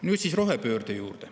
Nüüd rohepöörde juurde.